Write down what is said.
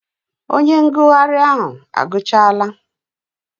Onye ngụgharị ahụ agụchaala?